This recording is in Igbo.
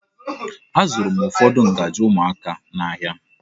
Azụrụ m ụfọdụ ngaji ụmụaka n'ahia.